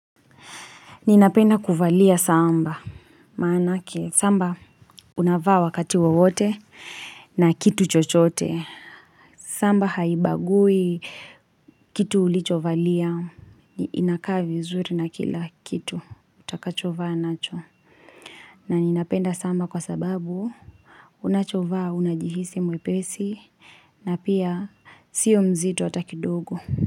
Ninapenda kuvalia samba, maanake samba unavaa wakati wawote na kitu chochote. Samba haibagui kitu ulichovalia. Inakaa vizuri na kila kitu, utakachovaa nacho. Na ninapenda samba kwa sababu unachovaa unajihisi mwepesi. Na pia sio mzito hata kidogo.